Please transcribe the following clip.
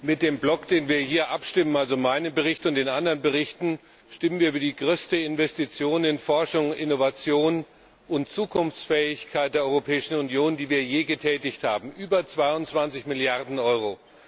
Mit dem Block, über den wir hier abstimmen, also meinen Bericht und die anderen Berichte, stimmen wir über die größte Investition in Forschung und Innovation und die Zukunftsfähigkeit der Europäischen Union ab, die wir je getätigt haben über 22Milliarden Euro.